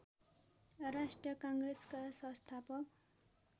राष्ट्रिय काङ्ग्रेसका संस्थापक